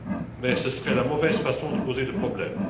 Mais ce serait la mauvaise façon de poser le problème.